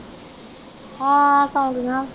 ਸੌ ਗਈਆਂ।